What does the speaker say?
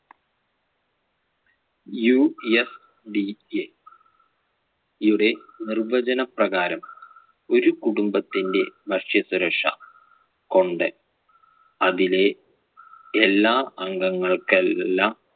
UFDA യുടെ നിർവ്വചനപ്രകാരം ഒരു കുടുംബത്തിന്‍റെ ഭക്ഷ്യസുരക്ഷ കൊണ്ട് അതിലെ എല്ലാ അംഗങ്ങൾക്കെല്ലാം